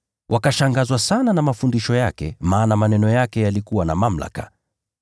Wakashangazwa sana na mafundisho yake, maana maneno yake yalikuwa na mamlaka.